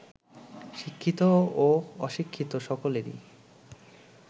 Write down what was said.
শিক্ষিত ও অশিক্ষিত সকলেরই